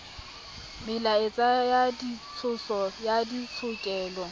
melaetsa ya ditshoso ya ditshokelo